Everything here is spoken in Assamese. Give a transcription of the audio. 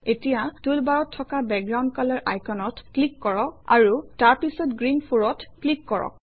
এতিয়া টুলবাৰত থকা বেকগ্ৰাউণ্ড কলৰ আইকনত ক্লিক কৰক আৰু তাৰপিছত গ্ৰীণ 4 অত ক্লিক কৰক